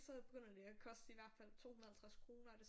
Så begynder det at koste i hvert fald 250 kroner og det er sådan